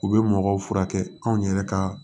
U bɛ mɔgɔw furakɛ anw yɛrɛ ka